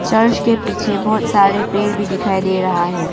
Church के पीछे बहुत सारे पेड़ भी दिखाई दे रहा है।